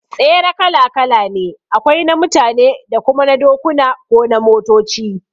Tsere kala kala ne, akwai na mutane da kuma na dokuna ko na motoci